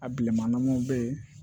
A bileman ɲanamaw be ye